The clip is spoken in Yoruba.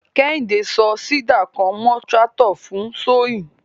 Kehinde so seeder kan mọ tractor fun sowing.